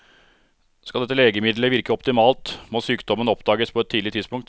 Skal dette legemiddelet virke optimalt, må sykdommen oppdages på et tidlig tidspunkt.